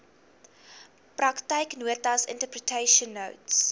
praktyknotas interpretation notes